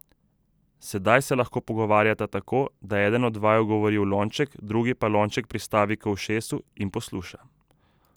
Sedaj se lahko pogovarjata tako, da eden od vaju govori v lonček, drugi pa lonček pristavi k ušesu in posluša.